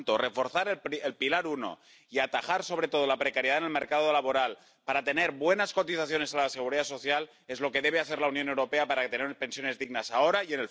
Por lo tanto, reforzar el pilar I y atajar sobre todo la precariedad en el mercado laboral para tener buenas cotizaciones a la Seguridad Social eso es lo que debe hacer la Unión Europea para tener pensiones dignas ahora y en el futuro.